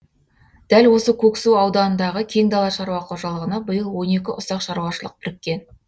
дәл осы көксу ауданындағы кең дала шаруа қожалығына биыл он екі ұсақ шаруашылық біріккен